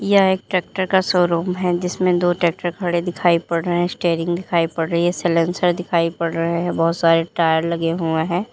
यह एक ट्रैक्टर का शोरूम है जिसमें दो ट्रैक्टर खड़े दिखाई पड़ रहे हैं स्टेरिंग दिखाई पड़ रही है साइलेंसर दिखाई पड़ रहा हैं बहुत सारे टायर लगे हुए हैं।